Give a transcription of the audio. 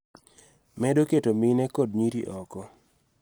Medo keto mine kod nyiri oko.